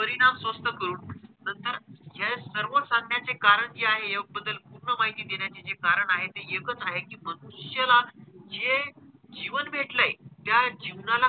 परिणाम स्वस्थ करून नंतर हे सर्व सांगण्याचे कारण जे आहे योग बद्दल पूर्ण माहिती देण्याचे जे कारण आहे ते एकच आहे कि मनुष्याला जे जीवन भेटलंय, त्या जीवनात,